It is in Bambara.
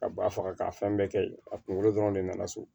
Ka ba faga ka fɛn bɛɛ kɛ yen a kunkolo dɔrɔn de nana so